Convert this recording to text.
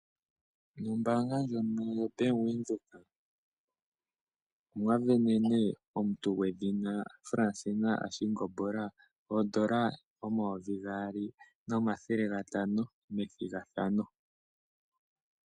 Ombaanga ndjono yoBank Windhoek omwasindanene omuntu gwedhina Fransina Ashingola oN$2500 methigathano .